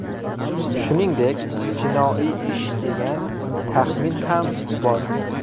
Shuningdek, jinoiy ish degan taxmin ham bor.